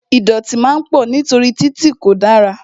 Ìdọ̀tí máa pọ̀ nítorí títì tí kò dára